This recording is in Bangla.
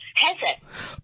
হ্যাঁ স্যার